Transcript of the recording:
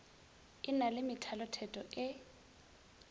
e na le methalotheto e